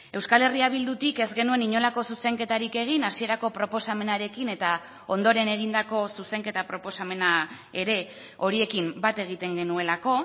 euskal herria bildutik ez genuen inolako zuzenketarik egin hasierako proposamenarekin eta ondoren egindako zuzenketa proposamena ere horiekin bat egiten genuelako